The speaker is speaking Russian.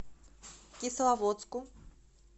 кисловодску